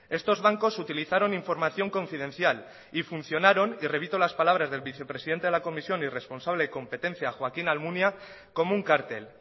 estos bancos utilizaron información confidencial y funcionaron y repito las palabras del vicepresidente de la comisión y responsable competencia joaquín almunia como un cártel